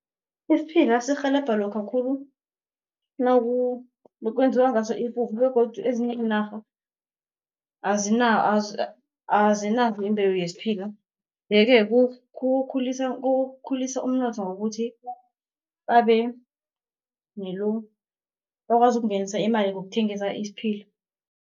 Isiphila sirhelebha lokha khulu kwenziwa ngaso ipuphu begodu ezinye iinarha azinayo imbewu yesiphila. Ye-ke kukhulisa umnotho ngokuthi bakwazi ukungenisa imali ngokuthengisa isiphila.